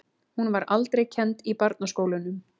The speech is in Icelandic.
Hún var aldrei kennd í barnaskólunum.